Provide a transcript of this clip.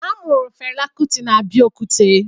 A mụrụ Fela Kuti na Abeokuta